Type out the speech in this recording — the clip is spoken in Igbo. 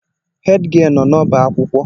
Hèdgịelu nọ n'ọba akwụkwọ.